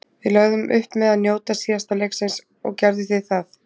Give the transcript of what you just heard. Við lögðum upp með að njóta síðasta leiksins. Og gerðu þið það?